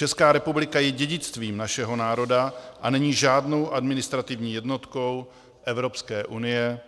Česká republika je dědictvím našeho národa a není žádnou administrativní jednotkou Evropské unie,